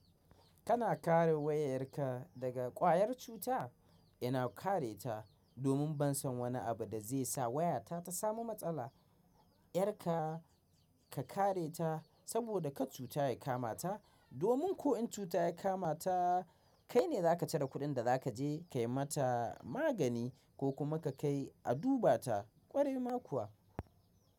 Kana kare wayar ka daga ƙwayar cuta? Ina kare ta domin ban san wani abu da zai sa wayata ta samu matsala. Yar ka ka kare ta saboda kar cuta ya kamata domin ko in cuta ya kama ta kai ne za ka cire kuɗin da za ka je ka yi mata magani ko kuma ka kai a duba ta ƙwarai ma kuwa.